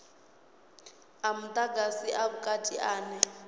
a mudagasi a vhukati ane